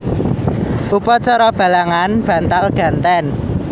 Upacara balangan bantal ganten